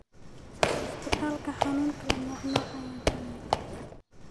Istipalka xanuna kala nocnoc aya jiraan.